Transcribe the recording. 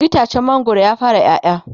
itacen mangwaron ya fara ƴaƴa?